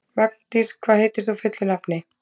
Magndís, hvað heitir þú fullu nafni?